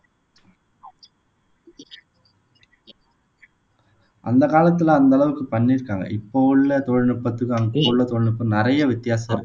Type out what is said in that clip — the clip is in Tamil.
அந்த காலத்தில அந்த அளவுக்கு பண்ணிருக்காங்க இப்போ உள்ள தொழில்நுட்பத்துக்கும் அப்போ உள்ள தொழில்நுட்பம் நிறைய வித்தியாசம்